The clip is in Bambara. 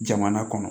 Jamana kɔnɔ